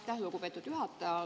Aitäh, lugupeetud juhataja!